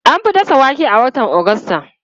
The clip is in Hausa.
An fi dasa wake a watan Agusta.